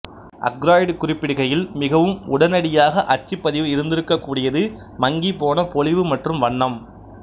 Aykroyd குறிப்பிடுகையில் மிகவும் உடனடியாக அச்சுப்பதிவு இருந்திருக்ககூடியது மங்கிப்போன பொலிவு மற்றும் வண்ணம்